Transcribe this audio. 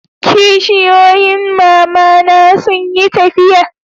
kishiyoyin mama na sun yi tafiya